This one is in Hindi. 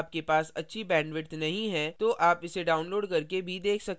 यदि आपके पास अच्छी bandwidth नहीं है तो आप इसे download करके भी देख सकते हैं